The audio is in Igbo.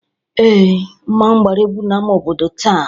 Ee, mmọnwụ gbara egwu n'ama obodo taa.